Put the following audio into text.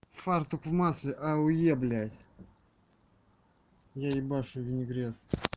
фартук в масле а у е блядь я ебашу винегрет